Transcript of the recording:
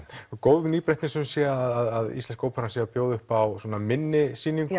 góð nýbreytni sum sé að íslenska óperan sé að bjóða upp á svona minni sýningu